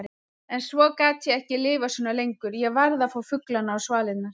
En svo gat ég ekki lifað svona lengur, ég varð að fá fuglana á svalirnar.